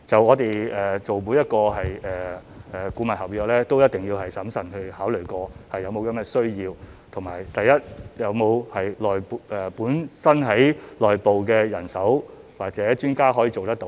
我們做每一份顧問合約，都一定會審慎考慮是否確有需要，以及第一，本身的內部人手或專家是否可以做得到？